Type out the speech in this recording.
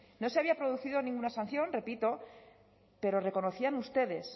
no se había producido ninguna sanción repito pero reconocían ustedes